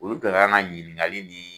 Olu ka kan ka ɲininkali nin.